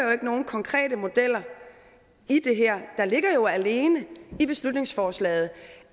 nogen konkrete modeller i det her der ligger jo alene i beslutningsforslaget